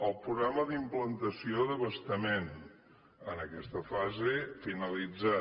el programa d’implantació d’abastament en aquesta fase finalitzat